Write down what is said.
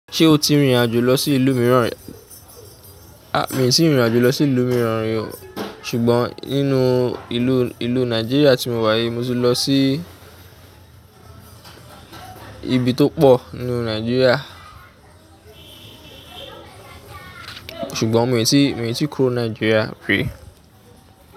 Ṣé o ti rìnrìn àjò lọ sí ìlú mìíràn rí? A, mi tíì rìnrìn àjò lọ sí ìlú mìíràn rí o, ṣùgbọ́n nínú ìlú, ìlú Nàìjíríà tí mo wà yìí mo ti lọ sí ibi tó pọ̀ nínú Nàìjíríà ṣùgbọ́n mi o tí, mi o tí kúrò Nàìjíríà rí.